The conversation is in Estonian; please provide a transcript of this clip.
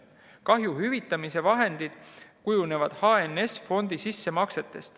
Kahju hüvitamise vahendid kujunevad HNS‑fondi sissemaksetest.